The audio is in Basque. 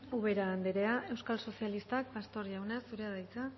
ubera andrea euskal sozialistak pastor jauna zurea da hitza